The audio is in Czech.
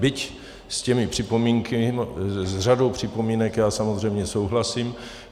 Byť s těmi připomínkami, s řadou připomínek já samozřejmě souhlasím.